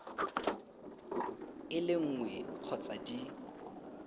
e le nngwe kgotsa di